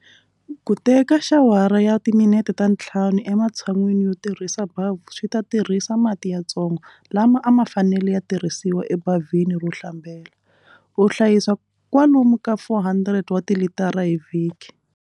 Ku teka xawara ya timinete ta ntlhanu ematshan'wini yo tirhisa bavhu swi ta tirhisa mati yatsongo lama a ma fanele ya tirhisiwa ebavhini ro hlambela, u hlayisa kwalomu ka 400 wa tilitara hi vhiki.